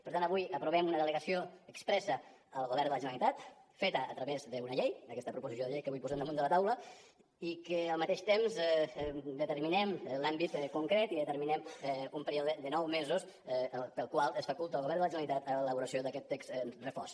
per tant avui aprovem una delegació expressa al govern de la generalitat feta a través d’una llei d’aquesta proposició de llei que avui posem damunt de la taula i que al mateix temps determinem l’àmbit concret i determinem un període de nou mesos pel qual es faculta al govern de la generalitat l’elaboració d’aquest text refós